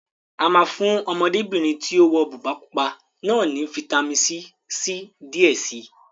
A máa fún Ọmọdébìnrin tí ó wọ bùbá pupa náà ní fitamisi C díẹ̀ si